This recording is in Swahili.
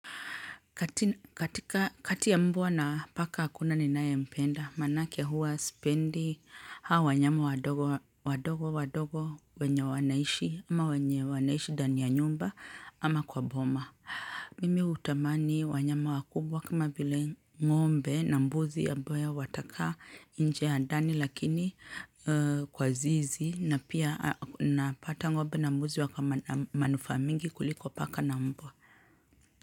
Katika kati ya mbwa na paka hakuna ninaye mpenda manake huwa sipendi hao wanyama wadogo wadogo wadogo wenye wanaishi ama wenye wanaishi ndani ya nyumba ama kwa boma. Mimi hutamani wanyama wakubwa kama vile ng'ombe na mbuzi ambayo watakaa nje na ndani lakini kwa zizi na pia napata ngombe na mbuzi wakona manufaa mingi kuliko paka na mbwa.